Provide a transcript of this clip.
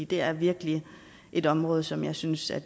det er virkelig et område som jeg synes er